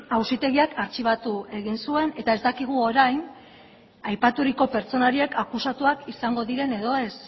auzitegiak artxibatu egin zuen eta ez dakigu orain aipaturiko pertsona horiek akusatuak izango diren ala ez